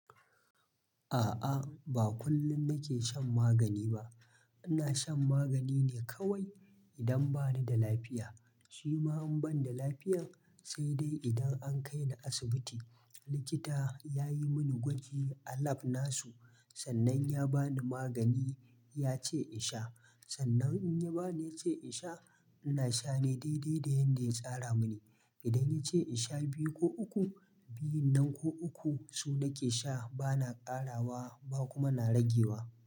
A'a, ba kullum nake shan magani ba. Ina shan magani ne kawai idan ba ni da lafiya. Shi ma in ban da lafiya sai dai idan an kai ni asibiti, likita ya yi mini gwaji a lab nasu, sannan ya ba ni magani yace in sha. Sannan in ya ba ni yace in sha, ina sha ne daidai da yanda ya tsara mini. Idan ya ce in sha biyu ko uku, biyun nan ko uku su nake sha ba na ƙarawa ba kuma na ragewa.